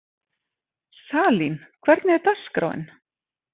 Salín, hvernig er dagskráin?